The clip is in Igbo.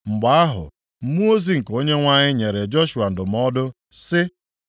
Mgbe ahụ, mmụọ ozi nke Onyenwe anyị nyere Joshua ndụmọdụ sị,